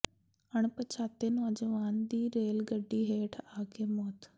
ਅਣਪਛਾਤੇ ਨੌਜਵਾਨ ਦੀ ਰੇਲ ਗੱਡੀ ਹੇਠ ਆ ਕੇ ਮੌਤ